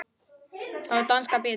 Þá er danskan betri.